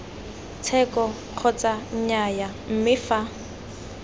tsheko kgotsa nnyaya mme fa